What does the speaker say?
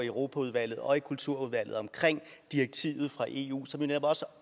europaudvalget og i kulturudvalget omkring direktivet fra eu som jo netop også